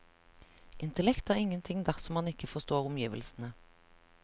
Intellekt er ingenting dersom man ikke forstår omgivelsene.